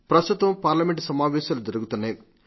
ప్రస్తుతం పార్లమెంటు సమావేశాలు జరుగుతున్నాయి